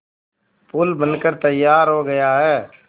पुल बनकर तैयार हो गया है